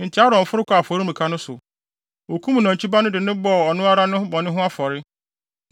Enti Aaron foro kɔɔ afɔremuka no so. Okum nantwi ba no de bɔɔ ɔno ara ne bɔne ho afɔre.